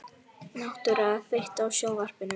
Náttúra, kveiktu á sjónvarpinu.